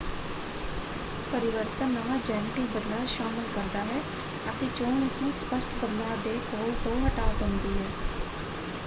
ਪਰਿਵਰਤਨ ਨਵਾਂ ਜੈਨੇਟਿਕ ਬਦਲਾਅ ਸ਼ਾਮਲ ਕਰਦਾ ਹੈ ਅਤੇ ਚੋਣ ਇਸਨੂੰ ਸਪੱਸ਼ਟ ਬਦਲਾਅ ਦੇ ਪੋਲ ਤੋਂ ਹਟਾ ਦਿੰਦੀ ਹੈ।